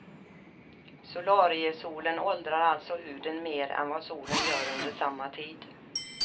Solariesolen åldrar alltså huden mer än vad solen gör under samma tid.